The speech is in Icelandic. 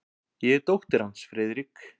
Ég er dóttir hans, Friðrik.